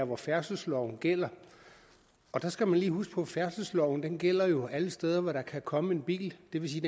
hvor færdselsloven gælder der skal man jo lige huske på at færdselsloven gælder alle steder hvor der kan komme en bil det vil sige